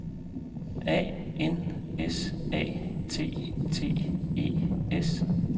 A N S A T T E S